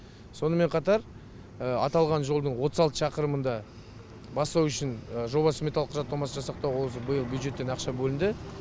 сонымен қатар аталған жолдың отыз алты шақырымын да бастау үшін жобалық сметалық құжаттамасын жасақтауға осы биыл бюджеттен ақша бөлінді